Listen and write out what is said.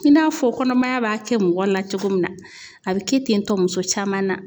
I n'a fɔ kɔnɔmaya b'a kɛ mɔgɔ la cogo min na, a be kɛ ten tɔ muso caman na.